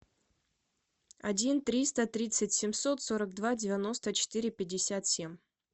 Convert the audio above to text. один триста тридцать семьсот сорок два девяносто четыре пятьдесят семь